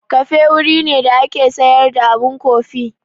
Kafe wuri ne da ake sayar da abun kofi.